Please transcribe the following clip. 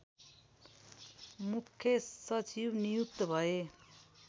मुख्य सचिव नियुक्त भए